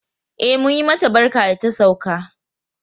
E, mun yi mata barka da ta sauka.